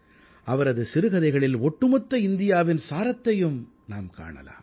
அவரது சிறுகதைகளில் ஒட்டுமொத்த இந்தியாவின் சாரத்தையும் நாம் காணலாம்